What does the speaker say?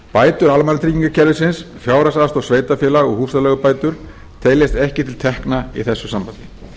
bætur almannatryggingakerfisins fjárhagsaðstoð sveitarfélaga og húsaleigubætur teljast ekki til tekna í þessu sambandi